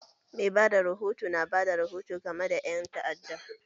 Mai bada rahoto na bada rihoto game da ƴan ta'adda